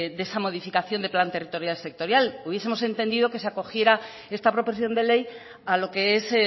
de esa modificación del plan territorial sectorial hubiesemos entendido que se acogiera esta proposición de ley a lo que es